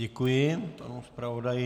Děkuji panu zpravodaji.